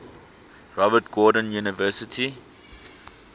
robert gordon university